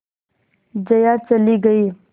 जया चली गई